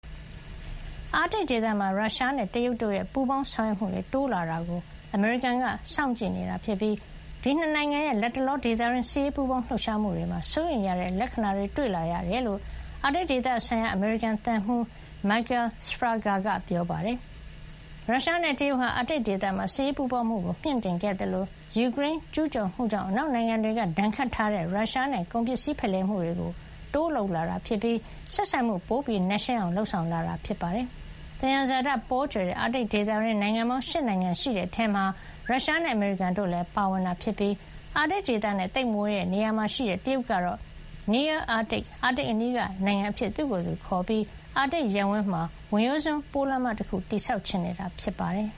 အာတိတ်ဒေသမှာ ရုရှားနဲ့ တရုတ်တို့ရဲ့ ပူးပေါင်းဆောင်ရွက်မှုတွေ တိုးလာတာကို အမေရိကန်က စောင့်ကြည့်နေတာဖြစ်ပြီး ဒီ ၂ နိုင်ငံရဲ့ လတ်တလော ဒေသတွင်း စစ်ရေးပူးပေါင်းလှုပ်ရှားမှုတွေမှာ စိုးရိမ်ရတဲ့ လက္ခဏာတွေ တွေ့လာရတယ်လို့ အာတိတ်ဒေသဆိုင်ရာ အမေရိကန် သံမှူး Michael Sfraga က ပြောပါတယ်။ ရုရှားနဲ့ တရုတ်ဟာ အာတိတ်ဒေသမှာ စစ်ရေးပူးပေါင်းမှု မြှင့်တင်ခဲ့သလို၊ ယူကရိန်းကို ကျူးကျော်မှုကြောင့် အနောက်နိုင်ငံတွေက ဒဏ်ခတ်ထားတဲ့ ရုရှားနဲ့ ကုန်ပစ္စည်းဖလှယ်မှုတွေ တိုးလုပ်လာတာပြီး ဆက်ဆံမှု ပိုနက်ရှိုင်းအောင် လုပ်ဆောင်လာတာ ဖြစ်ပါတယ်။ သယံဇာတပေါကြွယ်တဲ့ အာတိတ်ဒေသတွင်း နိုင်ငံပေါင်း ၈ နိုင်ငံ ရှိတဲ့အထဲမှာ ရုရှားနဲ့ အမေရိကန်တို့လည်း ပါဝင်တာဖြစ်ပြီး အာတိတ်ဒေသနဲ့ သိပ်မဝေးတဲ့နေရာမှာရှိတဲ့ တရုတ်ကတော့ "near-Arctic" အာတိတ်အနီးက နိုင်ငံ အဖြစ်သူ့ကိုယ်သူ ခေါ်ပြီး အာတိတ်ရပ်ဝန်းမှာ ဝင်ရိုးစွန်းပိုးလမ်းမ တခု တည်ဆောက်ချင်နေတာ ဖြစ်ပါတယ်